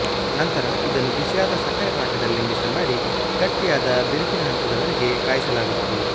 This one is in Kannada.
ನಂತರ ಇದನ್ನು ಬಿಸಿಯಾದ ಸಕ್ಕರೆ ಪಾಕದಲ್ಲಿ ಮಿಶ್ರಮಾಡಿ ಗಟ್ಟಿಯಾದ ಬಿರುಕಿನ ಹಂತದ ವರೆಗೆ ಕಾಯಿಸಲಾಗುತ್ತದೆ